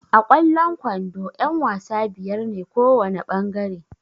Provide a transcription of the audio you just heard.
A kwallon kwando ƴan-wasa biyar ne kowana ɓangare.